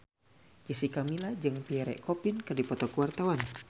Jessica Milla jeung Pierre Coffin keur dipoto ku wartawan